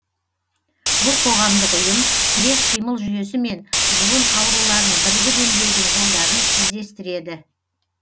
бұл қоғамдық ұйым тірек қимыл жүйесі мен жұлын ауруларын бірігіп емдеудің жолдарын іздестіреді